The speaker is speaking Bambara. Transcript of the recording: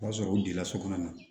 O b'a sɔrɔ u delila so kɔnɔ